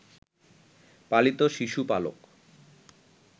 পালিত শিশু পালক